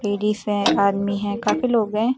Ladies है army है काफी लोग हैं।